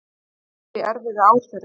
Hagvöxtur í erfiðu árferði